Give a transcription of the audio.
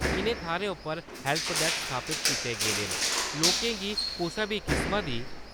इ'नें थाह्‌रें उप्पर हैल्प डैक्स स्थापत कीते गेदे न लोकें दी कुसा बी किस्म दी